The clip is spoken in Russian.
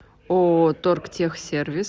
ооо торгтехсервис